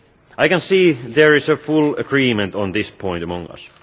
I can see there is full agreement on this point among us.